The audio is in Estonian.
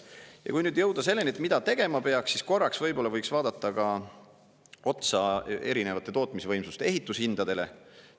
Ja kui nüüd jõuda selleni, et mida tegema peaks, siis korraks võib-olla võiks vaadata ka otsa erinevate tootmisvõimsuste ehitushindadele.